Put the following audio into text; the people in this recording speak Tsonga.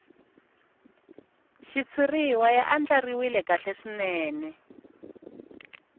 xitshuriwa ya andlariwile kahle swinene